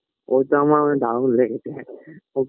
ওটা আমার দারুণ লেগেছে